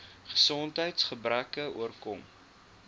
gesondheids gebreke oorkom